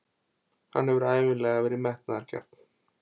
Hann hefur ævinlega verið metnaðargjarn.